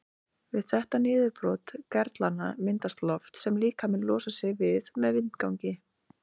Við þetta niðurbrot gerlanna myndast loft sem líkaminn losar sig við með vindgangi.